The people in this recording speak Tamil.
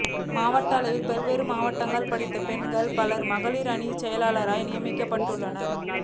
மாவட்ட அளவில் பல்வேறு மாவட்டங்களில் படித்த பெண்கள் பலர் மகளிர் அணிச் செயலாளர்களாக நியமிக்கப்பட்டுள்ளனர்